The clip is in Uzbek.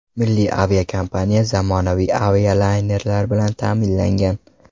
Milliy aviakompaniya zamonaviy avialaynerlar bilan ta’minlangan.